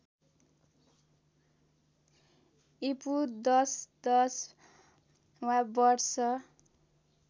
ईपू १०१० वा वर्ष